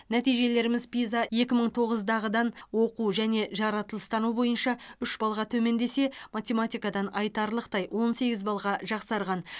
нәтижелеріміз пиза екі мың тоғыздағыдан оқу және жаратылыстану бойынша үш балға төмендесе математикадан айтарлықтай он сегіз балға жақсарған